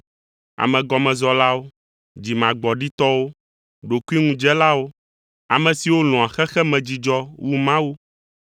amegɔmezɔlawo, dzimagbɔɖitɔwo, ɖokuiŋudzelawo, ame siwo lɔ̃a xexemedzidzɔ wu Mawu,